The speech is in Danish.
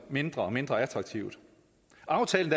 mindre og mindre attraktivt aftalen